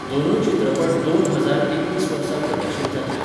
दोनूय चित्रपट दोन हजार एकवीस वर्सा प्रदर्शीत जातले.